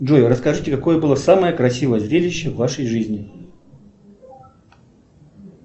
джой расскажите какое было самое красивое зрелище в вашей жизни